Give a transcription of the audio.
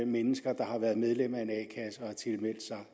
mennesker der har været medlem af